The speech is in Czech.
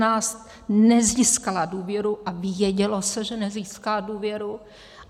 Nezískala důvěru a vědělo se, že nezíská důvěru.